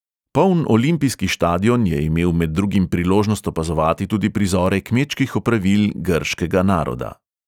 Poln olimpijski štadion je imel med drugim priložnost opazovati tudi prizore kmečkih opravil grškega naroda.